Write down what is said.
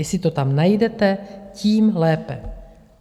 Jestli to tam najdete, tím lépe.